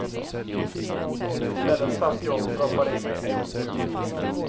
Istället satt jag och proppade i mig äggost.